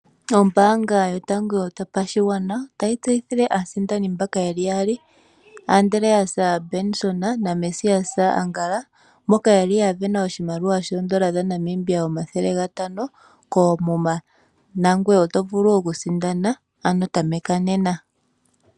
Ombaanga yotango yopashigwana otayi tseyithile aasindani mbaka yeli yaali Andreas Benson na Mesias Angala mboka yali yasindana oshimaliwa shoodola omathele gatano koomuma nangoye oto vulu okusindana tameka nena.